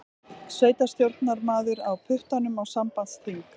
Sveitarstjórnarmaður á puttanum á sambandsþing